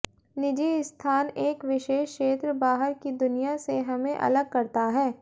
निजी स्थान एक विशेष क्षेत्र बाहर की दुनिया से हमें अलग करता है